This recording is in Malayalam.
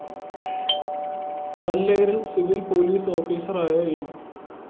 കല്ലേറില്‍ സിവിൽ പോലീസ് ഓഫീസറായ എം